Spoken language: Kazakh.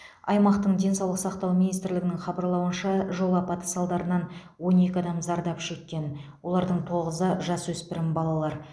аймақтық денсаулық сақтау министрлігінің хабарлауынша жол апаты салдарынан он екі адам зардап шеккен олардың тоғызы жасөспірім балалар